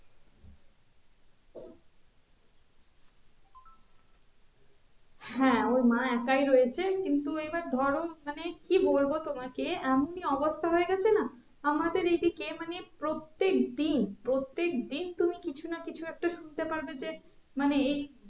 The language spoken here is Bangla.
হ্যাঁ ওর মা একাই রয়েছে কিন্তু এবার ধরো মানে কি বলবো তোমাকে এমনই অবস্থা হয়ে গেছে না আমাদের এদিকে মানে প্রত্যেক দিন প্রত্যেক দিন তুমি কিছু না কিছু একটা শুনতে পারবে যে মানে এই